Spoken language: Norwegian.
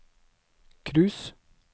cruise